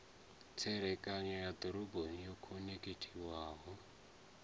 tserekano ya dzidoroboni yo khonekhithiwaho